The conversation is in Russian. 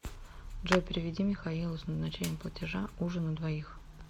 джой переведи михаилу с назначением платежа ужин на двоих